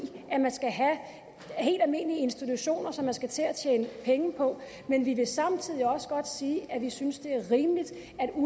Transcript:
at man skal have helt almindelige institutioner som man skal til at tjene penge på men vi vil samtidig også godt sige at vi synes det er rimeligt